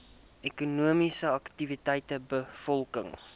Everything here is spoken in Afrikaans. ekonomies aktiewe bevolking